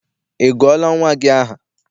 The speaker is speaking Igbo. Ị gụọla nnwa gị aha?